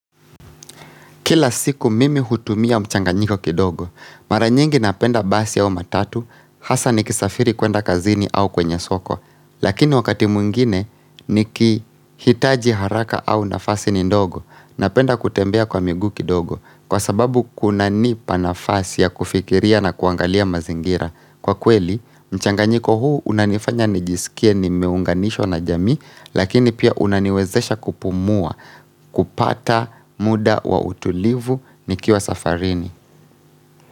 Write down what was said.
Kila siku mimi hutumia mchanganyiko kidogo, maranyengi napenda basi au matatu, hasa nikisafiri kwenda kazini au kwenye soko, lakini wakati muingine nikihitaji haraka au nafasi ni ndogo, napenda kutembea kwa migu kidogo, kwa sababu kuna nipa nafasi ya kufikiria na kuangalia mazingira. Kwa kweli, mchanganyiko huu unanifanya nijisikie nimeunganisho na jami, lakini pia unaniwezesha kupumua, kupata muda wa utulivu nikiwa safarini.